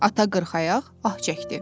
Ata qırxayaq ah çəkdi.